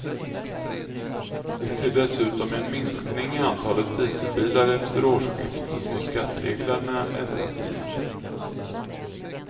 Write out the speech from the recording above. Vi ser dessutom en minskning i antalet dieselbilar efter årsskiftet då skattereglerna ändras igen.